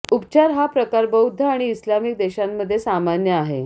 उपचार हा प्रकार बौद्ध आणि इस्लामिक देशांमध्ये सामान्य आहे